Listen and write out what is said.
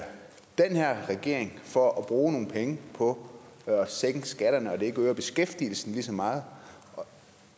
regering for at bruge nogle penge på at sænke skatterne når det ikke øger beskæftigelsen lige så meget